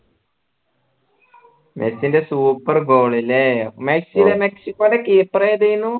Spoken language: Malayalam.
മെസ്സിൻറെ super goal ല്ലേ മെസ്സിടെ മെക്സിക്കോന്റെ keeper ഏതെന്നു